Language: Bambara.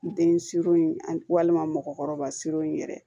N den siron walima mɔgɔkɔrɔba siron yɛrɛ